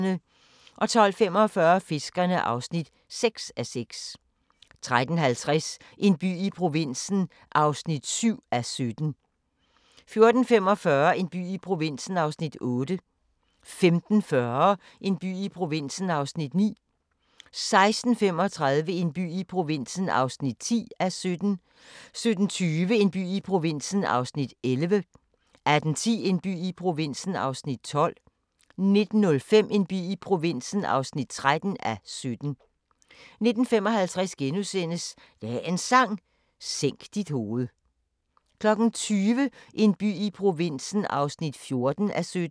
12:45: Fiskerne (6:6) 13:50: En by i provinsen (7:17) 14:45: En by i provinsen (8:17) 15:40: En by i provinsen (9:17) 16:35: En by i provinsen (10:17) 17:20: En by i provinsen (11:17) 18:10: En by i provinsen (12:17) 19:05: En by i provinsen (13:17) 19:55: Dagens Sang: Sænk dit hoved * 20:00: En by i provinsen (14:17)